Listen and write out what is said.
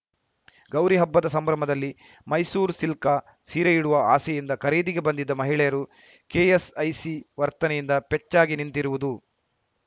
ಗೌರಿ ಹಬ್ಬದ ಸಂಭ್ರಮದಲ್ಲಿ ಮೈಸೂರು ಸಿಲ್ಕ ಸೀರೆಯುಡುವ ಆಸೆಯಿಂದ ಖರೀದಿಗೆ ಬಂದಿದ್ದ ಮಹಿಳೆಯರು ಕೆಎಸ್‌ಐಸಿ ವರ್ತನೆಯಿಂದ ಪೆಚ್ಚಾಗಿ ನಿಂತಿರುವುದು